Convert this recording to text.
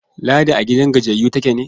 Ladi a gidan gajiyayyu take ne?